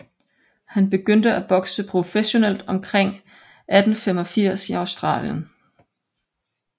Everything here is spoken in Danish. Han begyndte at bokse professionelt omkring 1885 i Australien